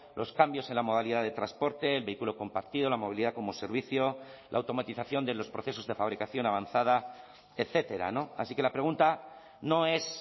los cambios en la modalidad de transporte el vehículo compartido la movilidad como servicio la automatización de los procesos de fabricación avanzada etcétera así que la pregunta no es